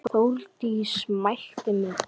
Þórdís mælti: